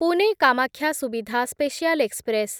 Pune Kamakhya Suvidha special express